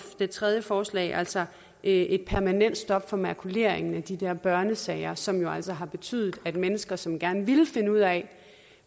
det tredje forslag er altså et permanent stop for makuleringen af de der børnesager som jo altså har betydet at mennesker som gerne ville finde ud af